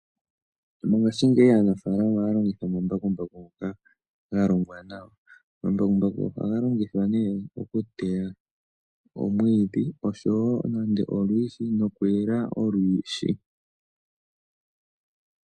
Mongashingeyi aanafalama ohaya longitha omambakumbaku ngoka ga longwa nawa. Omambakumbaku ohaga longithwa nee okuteya omwiidhi osho wo nando olwiishi nokuyela olwiishi.